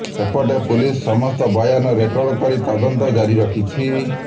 ସେପଟେ ପୁଲିସ ସମସ୍ତଙ୍କ ବୟାନ ରେକର୍ଡ କରି ତଦନ୍ତ ଜାରି ରଖିଛି